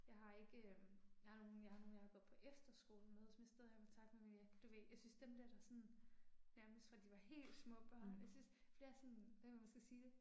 Jeg har ikke øh jeg har nogen jeg har nogen jeg har gået på efterskole med som jeg stadig har kontakt med men jeg, du ved synes dem dér der sådan, nærmest fra de var helt små børn, jeg synes det er sådan, jeg ved ikke hvordan man skal sige det